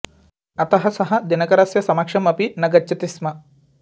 अतः सः दिनकरस्य समक्षम् अपि न गच्छति स्म